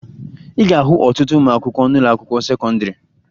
Ị ga-ahụ ọtụtụ ụmụakwụkwọ n'ụlọakwụkwọ sekọndịrị